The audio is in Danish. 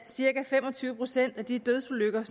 cirka fem og tyve procent af de dødsulykker